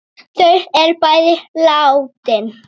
Þau er bæði látin.